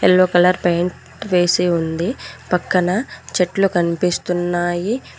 Yellow colour paint వేసి ఉంది పక్కన చెట్లు కన్పిస్తున్నాయి.